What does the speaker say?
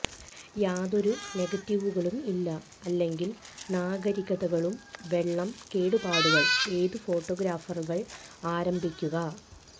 യാതൊരു നെഗറ്റീവുകളും ഇല്ല അല്ലെങ്കിൽ നാഗരികതകളും വെള്ളം കേടുപാടുകൾ ഏത് ഫോട്ടോഗ്രാഫുകൾ ആരംഭിക്കുക